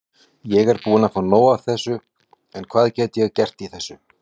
Ég er búinn að fá nóg en hvað get ég gert í þessu?